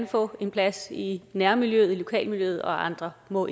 få en plads i nærmiljøet i lokalmiljøet og andre må